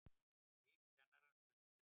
Lík kennarans fundið